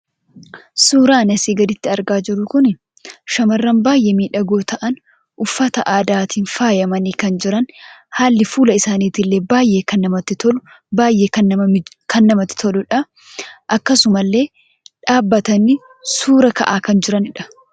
Suuraan as gadiitti argaa jirru kun shamarran baay'ee maidhagoo ta'an uffata aadaatin faayamanii kan jiran haalli fuulli isaanii illee baay'ee kan namatti toludha. Akkasuma illee dhaabbatanii suuraa ka'aa kan jiraanidha.